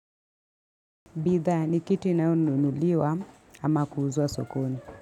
Bidhaa ni kitu inayonunuliwa ama kuuzwa sokoni.